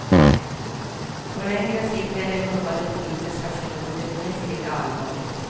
På längre sikt är det rubbade politiska förtroendet minst lika allvarligt.